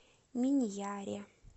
миньяре